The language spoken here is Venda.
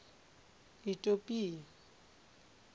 itopia